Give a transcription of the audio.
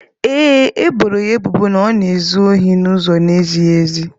Ee e, e boro ya ebubo na ọ na-ezu ohi n'ụzọ na-ezighị ezi.